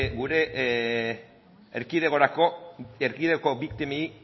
gure erkidegoko